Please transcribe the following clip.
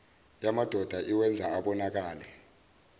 yamadoda iwenza abonakale